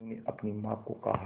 मीनू ने अपनी मां को कहा